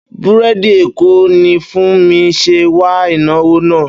Búrèdì Èkó ni Funmi ṣe wà ìnáwó náà